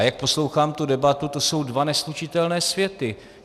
A jak poslouchám tu debatu, to jsou dva neslučitelné světy.